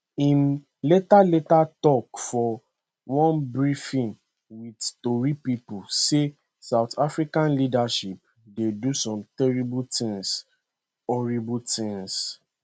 im later later tok for one briefing wit tori pipo say south africa leadership dey do some terrible tins horrible tins